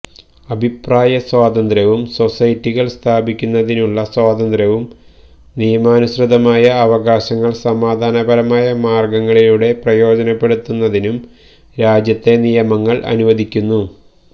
അഭിപ്രായ സ്വാതന്ത്ര്യവും സൊസൈറ്റികൾ സ്ഥാപിക്കുന്നതിനുള്ള സ്വാതന്ത്ര്യവും നിയമാനുസൃതമായ അവകാശങ്ങൾ സമാധാനപരമായ മാർഗങ്ങളിലൂടെ പ്രയോജനപ്പെടുത്തുന്നതിനും രാജ്യത്തെ നിയമങ്ങൾ അനുവദിക്കുന്നു